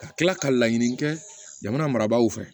Ka kila ka laɲini kɛ jamana marabaaw fɛ